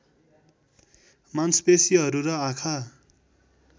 मांसपेशीहरू र आँखा